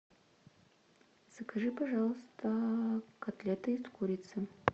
закажи пожалуйста котлеты из курицы